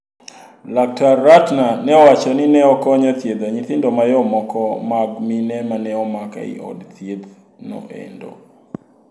Laktar Ratner neowacho ni ne okonyo thiedho nyithindo mayom moko mag mine maneomak ei od thieth no endo.